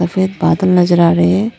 सफेद बादल नजर आ रहे हैं।